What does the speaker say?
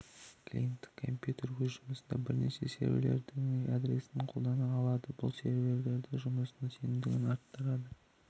клиенттік компьютер өз жұмысында бірнеше ерверлердің адресін қолданыла алады бұл олардың жұмысының сенімділігін артады